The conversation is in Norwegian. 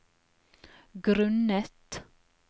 grunnet